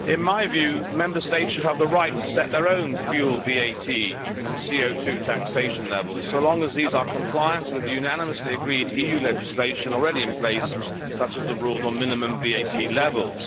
Mr President, in my view, Member States should have the right to set their own fuel VAT and CO taxation levels, as long as these are compliant with the unanimously agreed EU legislation already in place, such as the rules on minimum VAT levels.